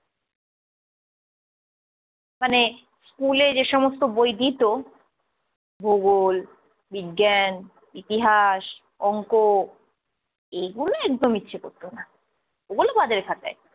মানে স্কুলে যেসমস্ত বই দিত ভূগোল, বিজ্ঞান, ইতিহাস, অংক এইগুলো একদম ইচ্ছে করতো না, ওগুলো বাদের খাতায়।